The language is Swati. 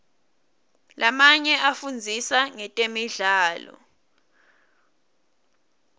lamanye afundzisa ngetemidlalo